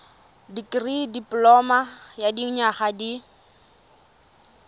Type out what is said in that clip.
dikirii dipoloma ya dinyaga di